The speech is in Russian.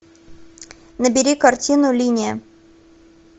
набери картину линия